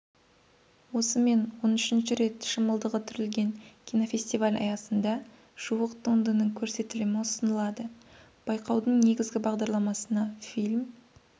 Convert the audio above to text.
осымен он үшінші рет шымылдығы түрілген кинофестиваль аясында жуық туындының көрсетілімі ұсынылады байқаудың негізгі бағдарламасына фильм